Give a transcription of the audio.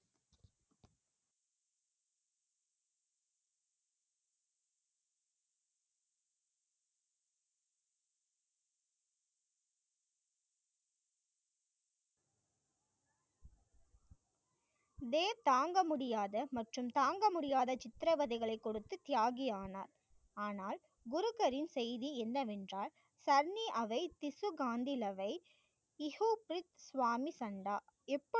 வேர் தாங்க முடியாத மற்றும் தாங்க முடியாத சித்திரவதைகளை கொடுத்து தியாகி ஆனார். ஆனால், குருக்கரின் செய்தி என்னவென்றால், சன்னி அவை திசுகாந்திலவை, இசோபெத் சுவாமி சந்தா